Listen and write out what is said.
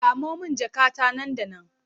Samo min jakata nan da nan!